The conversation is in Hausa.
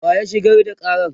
wa ya shigar da Karan?